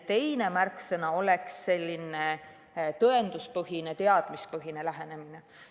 Teine märksõna on tõenduspõhine, teadmispõhine lähenemine.